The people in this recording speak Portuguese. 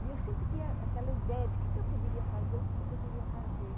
E eu sempre tinha aquela ideia de o que eu poderia fazer ou o que eu poderia fazer.